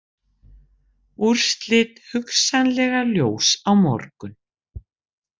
Úrslit hugsanlega ljós á morgun